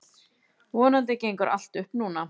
Vonandi gengur allt upp núna.